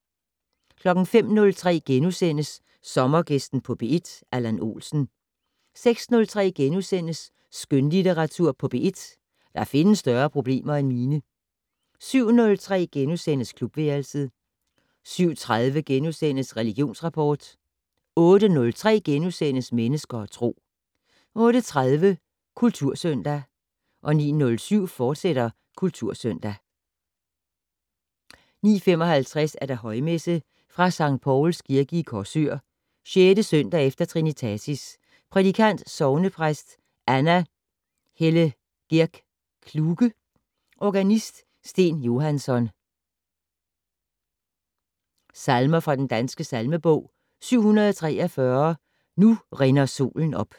05:03: Sommergæsten på P1: Allan Olsen * 06:03: Skønlitteratur på P1: Der findes større problemer end mine * 07:03: Klubværelset * 07:30: Religionsrapport * 08:03: Mennesker og Tro * 08:30: Kultursøndag 09:07: Kultursøndag, fortsat 09:55: Højmesse - Fra Skt. Povls Kirke, Korsør. 6. søndag efter trinitatis. Prædikant: Sognepræst Anna Hellegerg Kluge. Organist: Steen Johansson. Salmer fra den danske salmebog: 743 "Nu rinder solen op".